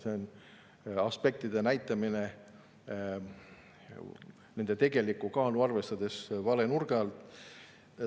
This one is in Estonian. See on aspektide näitamine nende tegelikku kaalu arvestades vale nurga alt.